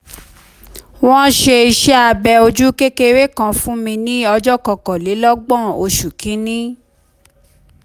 wọ́n ṣe iṣẹ́ abẹ ojú kékeré kan fún mi ní ọjọ́ kọkànlélọ́gbọ̀n oṣù kìíní